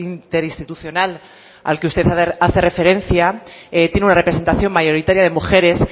interinstitucional al que usted hace referencia tiene una representación mayoritaria de mujeres